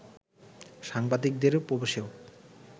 সাংবাদিকদের প্রবেশেও